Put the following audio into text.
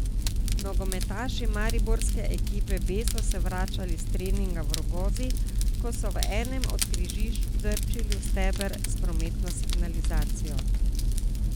Nogometaši mariborske ekipe B so se vračali s treninga v Rogozi, ko so v enem od križišč trčili v steber s prometno signalizacijo.